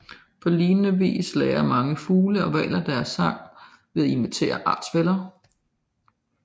På lignende vis lærer mange fugle og hvaler deres sange ved at imitere artsfæller